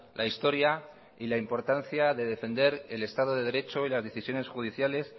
la historia y la importancia de defender el estado de derecho y las decisiones judiciales